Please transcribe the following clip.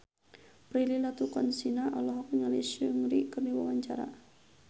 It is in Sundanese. Prilly Latuconsina olohok ningali Seungri keur diwawancara